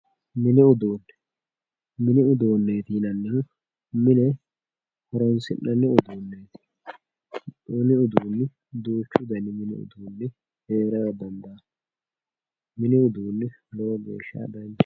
mini uduunne mini uduunneeti yinannihu mine horoosi'nanniha uduunneeti mini giddoonni duuchu dani mini giddoonni heerara dandaanno mini giddoonni lowo geeshsha danchaho.